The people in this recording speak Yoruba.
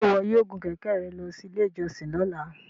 Ṣe iwọ yoo gun kẹkẹ rẹ lọ si ile ijọsin lọla?